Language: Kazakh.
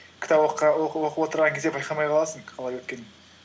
кітап оқып отырған кезде байқамай қаласың қалай өткенін